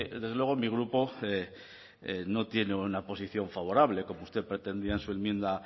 desde luego mi grupo no tiene una posición favorable como usted pretendía en su enmienda